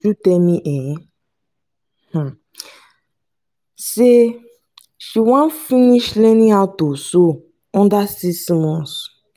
tell me um me say she wan finish learning how to sew under six month